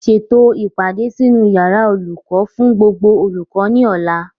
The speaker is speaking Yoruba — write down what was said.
Ṣètò o ìpàdé sínú yàrá olùkọ́ fún gbogbo olùkọ́ ní ọ̀la